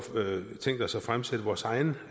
tænkt os at fremsætte vores eget